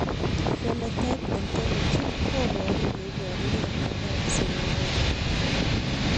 Phenotype ontology koparu ole iparukei miondop Seminoma